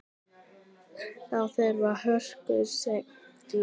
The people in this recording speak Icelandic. Þá þurfti hörku og seiglu.